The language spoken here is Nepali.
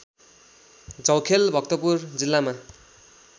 झौखेल भक्तपुर जिल्लामा